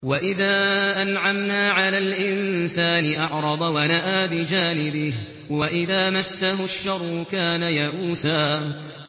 وَإِذَا أَنْعَمْنَا عَلَى الْإِنسَانِ أَعْرَضَ وَنَأَىٰ بِجَانِبِهِ ۖ وَإِذَا مَسَّهُ الشَّرُّ كَانَ يَئُوسًا